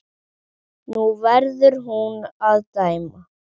Nú verður hún að dæma.